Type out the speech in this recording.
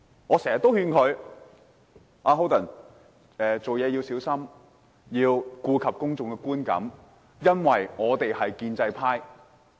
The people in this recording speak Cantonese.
我經常也勸他，做事要小心，要顧及公眾的觀感，因為我們是建制派。